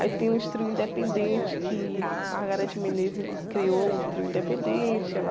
Aí tem os trios independentes que Margareth Menezes criou, um trio independente, ela